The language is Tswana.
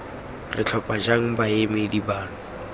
re tlhopha jang baemedi bano